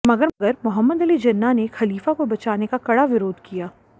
मगर मोहम्मद अली जिन्ना ने खलीफा को बचाने का कड़ा विरोध किया